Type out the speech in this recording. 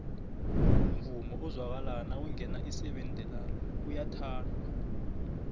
umvumo ezwakala nakungena iseven deluan uyathandwo